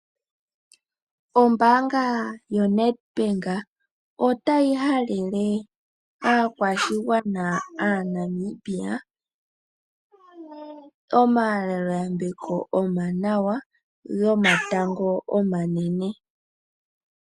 Ombaanga yoNedbank otayi halele aakwashigwana aaNamibia omahalelo yambeko omawanawa gomatango omanene.